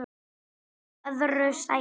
Í öðru sæti